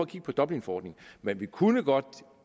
kigge på dublinforordningen men vi kunne godt